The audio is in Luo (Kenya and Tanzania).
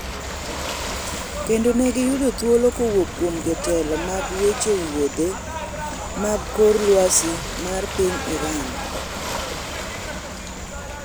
kendo ni ne giyudo thuolo kowuok kuom jotelo mag weche wuodhe mag kor lwasi ma piny Iraq